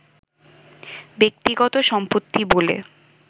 ব্যক্তিগত সম্পত্তি বলে